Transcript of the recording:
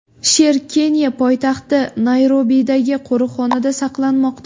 Sher Keniya poytaxti Nayrobidagi qo‘riqxonada saqlanmoqda.